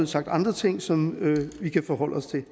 sagt andre ting som vi kan forholde os til